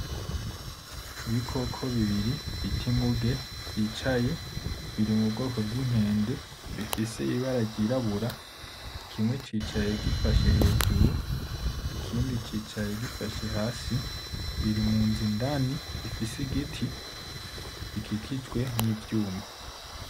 Ibikoko bibiri bita inguge vyicaye biri mu bwoko bw'inkende bifise ibara ry'irabura kimwe cicaye gifashe hejuru ikindi cicaye gifashe hasi biri munzu indani ifise igiti ikikijwe n'ivyuma .